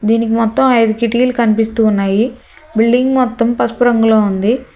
దీనికి మొత్తం ఐదు కిట్లీలు కనిపిస్తూ ఉన్నాయి బిల్డింగ్ మొత్తం పసుపు రంగులో ఉంది.